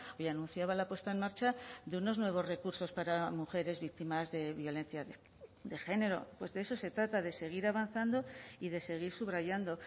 y anunciaba la puesta en marcha de unos nuevos recursos para mujeres víctimas de violencia de género pues de eso se trata de seguir avanzando y de seguir subrayando